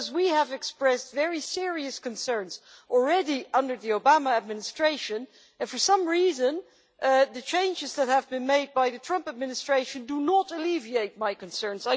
We had already expressed very serious concerns under the Obama administration and, for some reason, the changes that have been made by the Trump administration do not alleviate my concerns.